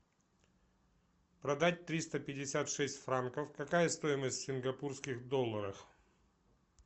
продать триста пятьдесят шесть франков какая стоимость в сингапурских долларах